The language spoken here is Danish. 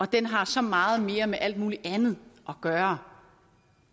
den har så meget mere med alt muligt andet at gøre